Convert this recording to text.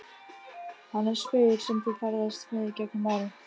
Hann er spegill sem þú ferðast með gegnum árin.